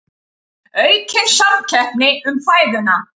Aukin samkeppni um fæðuna